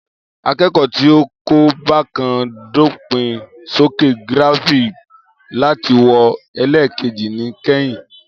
Akeko ti o ko ba ka, dopin soke giraffing lati wọn elekeji ni kẹhìn